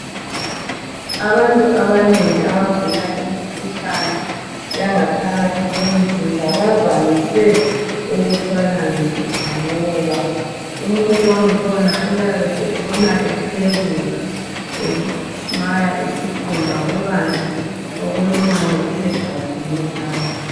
Abantu abanengi abagula imikhuhlane yangaphaphakathi komzimba bavamise ukuthwala nzima ngoba umuntu wakhona uyabe setshona ethwebuza enwaya isikhumba kukanti okulumayo kusegazini phakathi.